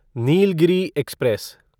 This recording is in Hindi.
नीलगिरी एक्सप्रेस